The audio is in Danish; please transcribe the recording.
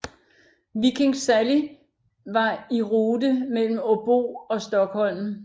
Viking Sally var i rute mellem Åbo og Stockholm